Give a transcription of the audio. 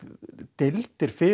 deildir fyrir